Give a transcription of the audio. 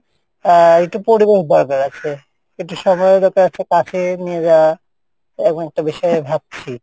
আহ একটু পরিবেশ দরকার আছে, একটু সময়ও দরকার আছে নিয়ে যাওয়া, এবং একটা বিষয়ও ভাবছি।